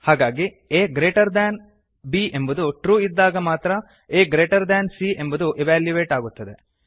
ಹಾಗಾಗಿ a greater than b ಎಂಬುದು true ಇದ್ದಾಗ ಮಾತ್ರ a ಗ್ರೇಟರ್ ದ್ಯಾನ್ c ಎಂಬುದು ಇವ್ಯಾಲ್ಯುಯೇಟ್ ಆಗುತ್ತದೆ